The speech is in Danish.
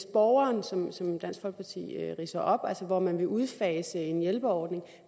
borgeren sådan som dansk folkeparti ridser det op altså hvor man vil udfase en hjælperordning